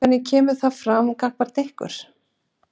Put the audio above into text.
Hvernig kemur það fram gagnvart ykkur?